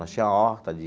Nós tinha a horta de...